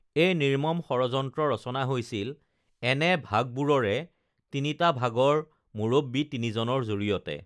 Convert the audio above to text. এই নিৰ্মম ষড়যন্ত্ৰ ৰচনা হৈছিল এনে ভাগবোৰৰে তিনিটা ভাগৰ মুৰব্বী তিনিজনৰ জৰিয়তে